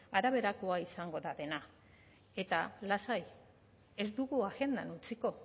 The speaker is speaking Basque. araberakoa izango da dena eta lasai ez dugu agendan utziko